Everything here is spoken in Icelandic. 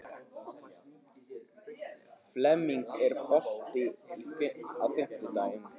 Flemming, er bolti á fimmtudaginn?